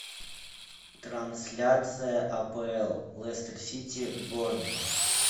трансляция апл лестер сити борнмут